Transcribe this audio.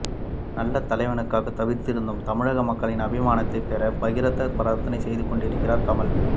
நல்ல தலைவனுக்காக தவித்திருக்கும் தமிழக மக்களின் அபிமானத்தைப் பெற பகீரதப் பிரயத்னம் செய்து கொண்டிருக்கிறார் கமல்